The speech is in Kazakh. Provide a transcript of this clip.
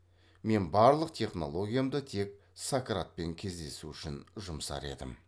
мен барлық технологиямды тек сократпен кездесу үшін жұмсар едім